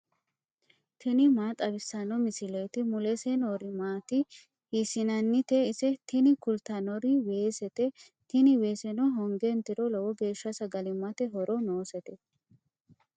tini maa xawissanno misileeti ? mulese noori maati ? hiissinannite ise ? tini kultannori weesete. tini weeseno honge intiro lowo geeshsha sagalimmate horo noosete.